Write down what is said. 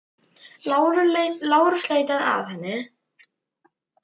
LÁRUS: Leitið þá að henni.